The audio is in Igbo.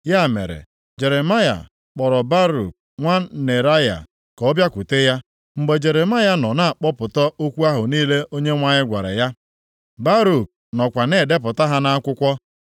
Ya mere, Jeremaya kpọrọ Baruk nwa Neraya ka ọ bịakwute ya. Mgbe Jeremaya nọ na-akpọpụta okwu ahụ niile Onyenwe anyị gwara ya, Baruk nọkwa na-edepụta ha nʼakwụkwọ.